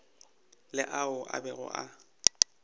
le ao a bego a